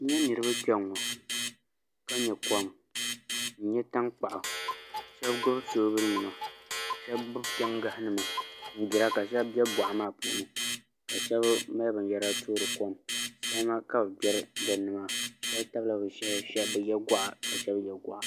N nyɛ niraba kpɛŋŋo ka nyɛ kom n nyɛ tankpaɣu shab gbubi soobuli nima shab gbubi pingahi nima n gbira ka shab bɛ boɣa maa puuni ka shab mali binyɛra toori kom salima ka bi gbiri dinni maa shab tabila bi shahi shab bi yɛ goɣa ka shab yɛ goɣa